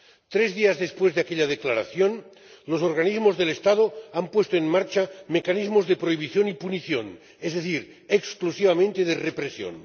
Tres días después de aquella declaración, los organismos del Estado han puesto en marcha mecanismos de prohibición y punición, es decir, exclusivamente de represión.